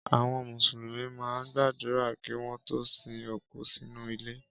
Àwọn Mùsùlùmí máa ń gbàdúrà kí wọ́n tó sin òkú sínú ilẹ̀.